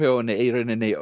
henni í